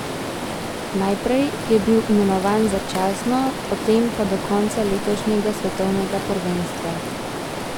Najprej je bil imenovan začasno, potem pa do konca letošnjega svetovnega prvenstva.